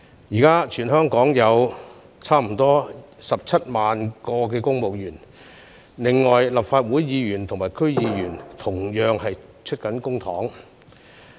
現時全港約有17萬名公務員，另外立法會議員和區議員同樣以公帑支薪。